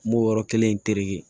N b'o yɔrɔ kelen in terekɛ